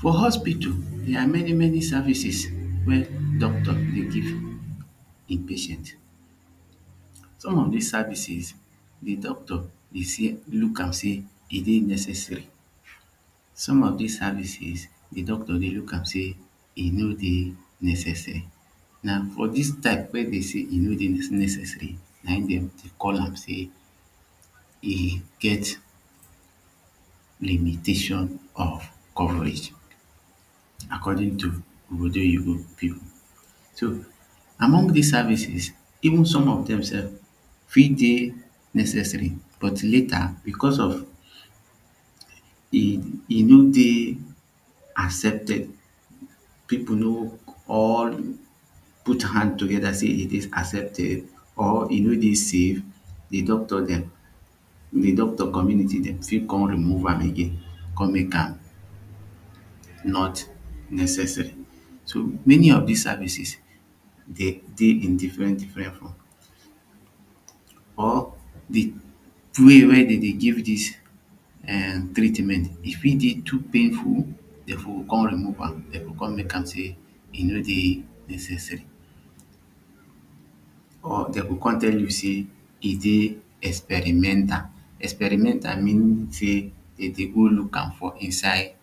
For hospital dia many many services wey doctor dey give him patient som of dis services the doctor dey she look am seh e dey necessary some of dis services the doctor dey look am say e no dey necessary na for this type wey dem sey e no dey necessary na him dem dey call am sey e get limitation of coverage according to ogbodoyibo people so among dis services even som of dem sef fit dey necessary but later becos of e e no dey accepted people no or put hand together say it is accepted or e no dey safe the doctor dem de doctor community dem fit come remove am again come mek am not necessary so many of dis services they in different differen form or de way weydemdey give dis treatment e fit dey painful dem go com remove am dem go come mek am saying e no dey necessary or dem go com tell you say e dey experimental. Experimental mean say dem dey go look am for inside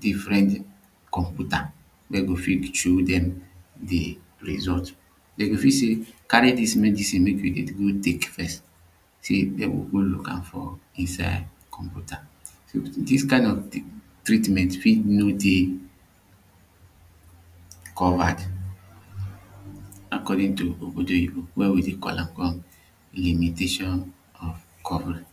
differen computer wey go fit show dem de result dem go fit say carry dis medicine mek you dey go tek first say dem go go look am for inside computer. Dis kind of treatment fit no dey covered according to ogbodoyibo wey we dey call am limitation of coverage